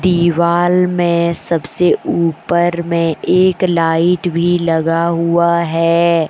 दीवाल में सबसे ऊपर में एक लाइट भी लगा हुआ है।